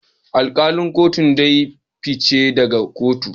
Alkalin kotun dai ya fice daga kotun